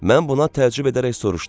Mən buna təəccüb edərək soruşdum: